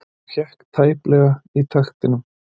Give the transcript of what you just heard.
Og hékk tæplega í taktinum.